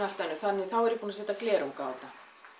allt önnur þannig að þá er ég búin að setja glerung á þetta